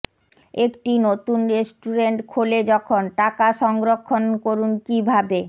একটি নতুন রেস্টুরেন্ট খোলে যখন টাকা সংরক্ষণ করুন কিভাবে